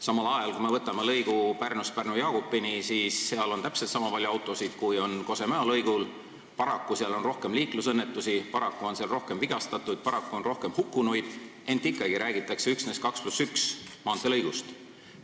Samal ajal on Pärnu ja Pärnu-Jaagupi lõigul täpselt niisama palju autosid, kui on Kose-Mäo lõigul, ning paraku on seal rohkem liiklusõnnetusi, paraku on seal rohkem vigastatuid ja paraku rohkem hukkunuid, ent ikkagi räägitakse üksnes 2 + 1 rajaga maanteelõigust.